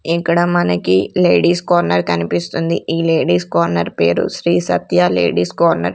ఇక్కడ మనకి ladies corner కనిపిస్తుంది ఈ లేడీస్ కార్నర్ పేరు శ్రీ సత్య లేడీస్ కార్నర్ .